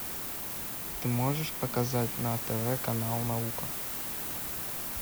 ты можешь показать на тв канал наука